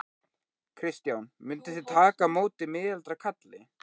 Kristján: Mynduð þið taka á móti miðaldra kalli?